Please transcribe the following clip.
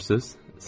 Görürsünüz?